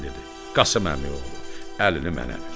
Qasım Əmi oğlu, əlini mənə ver!